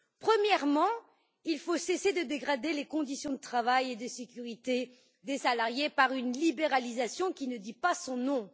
Premièrement, il faut cesser de dégrader les conditions de travail et de sécurité des salariés par une libéralisation qui ne dit pas son nom.